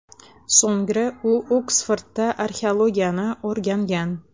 So‘ngra u Oksfordda arxeologiyani o‘rgangan.